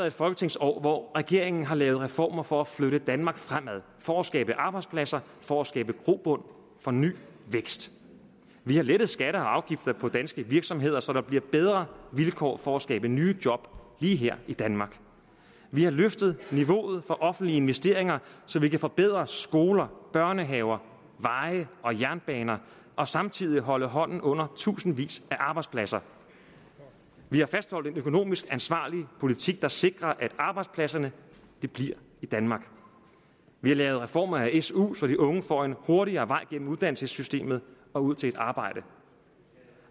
et folketingsår hvor regeringen har lavet reformer for at flytte danmark fremad for at skabe arbejdspladser for at skabe grobund for ny vækst vi har lettet skatter og afgifter på danske virksomheder så der bliver bedre vilkår for at skabe nye job lige her i danmark vi har løftet niveauet for offentlige investeringer så vi kan forbedre skoler børnehaver veje og jernbaner og samtidig holde hånden under tusindvis af arbejdspladser vi har fastholdt en økonomisk ansvarlig politik der sikrer at arbejdspladserne bliver i danmark vi har lavet reformer af su så de unge får en hurtigere vej igennem uddannelsessystemet og ud til et arbejde